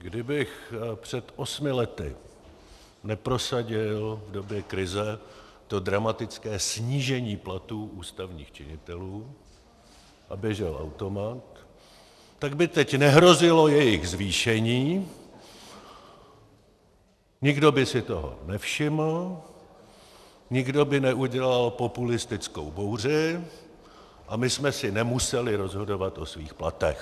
Kdybych před osmi lety neprosadil v době krize to dramatické snížení platů ústavních činitelů a běžel automat, tak by teď nehrozilo jejich zvýšení, nikdo by si toho nevšiml, nikdo by neudělal populistickou bouři a my jsme si nemuseli rozhodovat o svých platech.